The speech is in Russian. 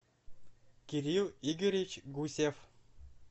кирилл игоревич гусев